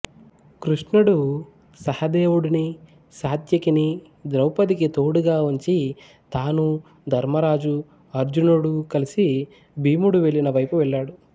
కృష్ణుడు సహదేవుడిని సాత్యకిని ద్రౌపదికి తోడుగా ఉంచి తానూ ధర్మరాజూ అర్జునుడూ కలిసి భీముడు వెళ్ళిన వైపు వెళ్ళాడు